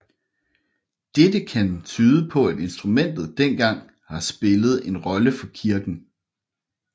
Dette kan tyde på at instrumentet dengang har spillet en rolle for kirken